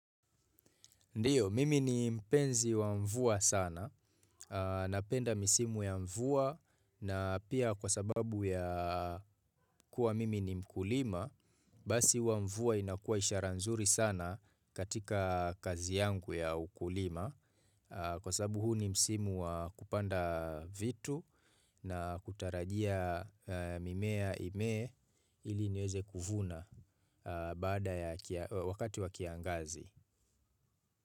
Ndiyo, mimi ni mpenzi wa mvua sana, napenda misimu ya mvua na pia kwa sababu ya kuwa mimi ni mkulima, basi huwa mvua inakua ishara nzuri sana katika kazi yangu ya ukulima. Kwa sababu huu ni msimu kupanda vitu na kutarajia mimea ime ili nyeze kuvuna wakati wa kiangazi.